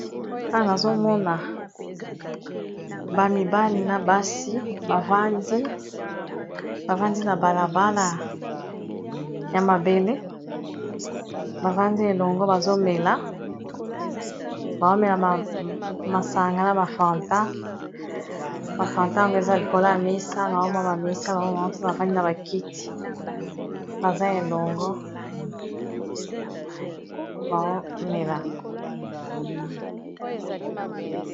A nazomona ba mibali na basi bavandi na balabala ya mabele bavandi elongo bazomela bawomela masanga na bafantan ,bafantago eza likola ya misa naomwa bamisa baoma mpe bavandi na bakiti baa elongo.